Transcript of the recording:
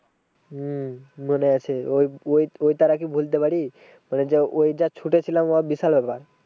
হম মনে আছে ওই ওই ওই তারা কি ভুলতে পারি। মানে যা ওই যা ছুটে ছিলাম ও বিশাল ব্যাপার।